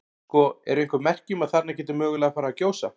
Sko, eru einhver merki um að þarna geti mögulega farið að gjósa?